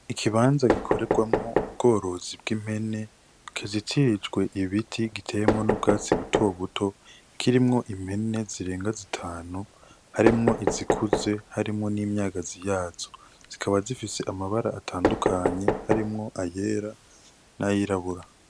Ikibanza gikorerwamwo ubworozi bw'impene kizitirijwe ibiti giteemwo n'ubwatsi butobuto kirimwo impene zirenga zitanu harimwo izikuze harimwo n'imyagazi yaco zikaba zifise amabara atandukanye harimwo ayera n'ayirabura.